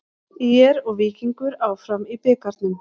ÍR og Víkingur áfram í bikarnum